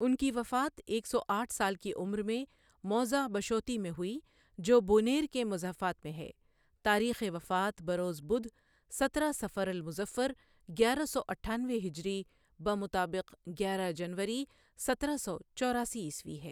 ان کی وفات ایک سو آٹھ سال کی عمر میں موضع بشوطی میں ہوئی جو بونیر کے مضافات میں ہے، تاریخ وفات بروز بدھ سترہ صفر المظفر گیارہ سو اٹھانوے ہجری بمطابق گیارہ جنوری سترہ سو چوراسی عیسوی ہے ۔